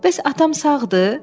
Bəs atam sağdır?